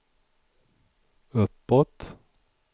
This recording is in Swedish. uppåt